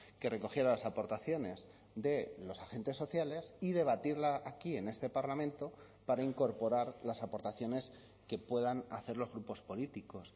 que recogiera las aportaciones de los agentes sociales y debatirla aquí en este parlamento para incorporar las aportaciones que puedan hacer los grupos políticos